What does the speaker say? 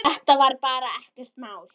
Þetta var bara ekkert mál.